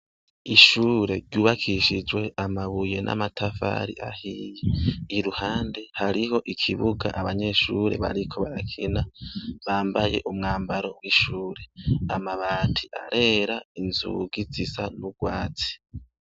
Ishuri ryubakishijwe amabuye n'amatafari ahiye iruhande hariho ikibuga abanyeshuri bariko barakina bambaye umwambaro w'ishuri amabati arera inzugi zisa n'urwatsi.